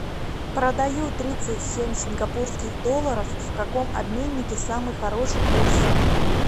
продаю тридцать семь сингапурских долларов в каком обменнике самый хороший курс